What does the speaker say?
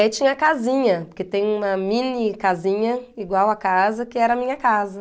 E aí tinha a casinha, porque tem uma mini casinha igual a casa, que era a minha casa.